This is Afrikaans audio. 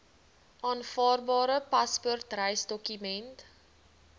aanvaarbare paspoort reisdokument